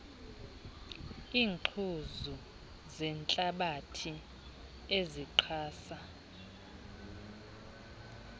iingquzu zentlabathi ezixhasa